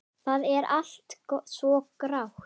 Það er allt svo grátt.